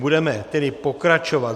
Budeme tedy pokračovat.